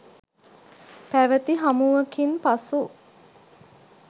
පැවති හමුවකින් පසු